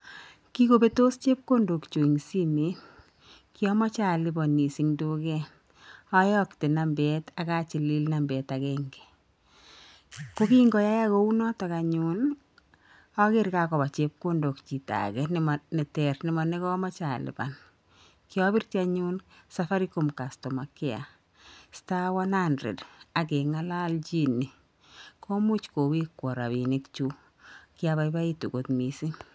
Kikobetos chepkondokyuk eng' simeet. Kyamejei aliponis eng duket. Ayakte nambet akochili nambet agenge. Kokingoyaak kounoto anyun ager kakoba chepkondok chito age neter ne manekamejei alipan. Kiabirji anyun safaricom customer care *100 ageng'alajine komuch kowekwo rabinik chuk. Kiabaibaitu kot mising.